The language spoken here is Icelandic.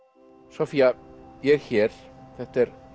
Soffía ég er hér þetta er